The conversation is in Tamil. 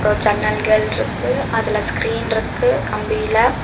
ஒரு ஜன்னல்கள்ருக்கு அதுல ஸ்கிரீன்ருக்கு கம்பில.